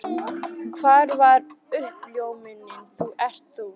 Hvar var uppljómunin þú ert þú?